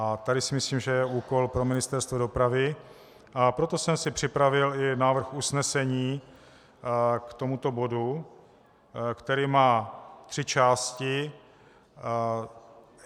A tady si myslím, že je úkol pro Ministerstvo dopravy, a proto jsem si připravil i návrh usnesení k tomuto bodu, který má tři části.